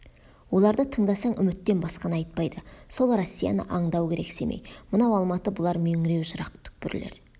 оларды тыңдасаң үміттен басқаны айтпайды сол россияны аңдау керек семей мынау алматы бұлар меңіреу жырақ түкпірлер